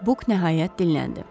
Buk nəhayət dilləndi.